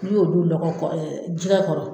N'i y'olu lɔgɔ kɔrɔ kɛjɛgɛ kɔrɔ